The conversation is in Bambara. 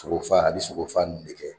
Sogo faa, bɛ sogo fa de kɛ.